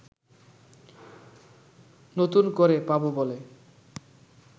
নতুন করে পাবো বলে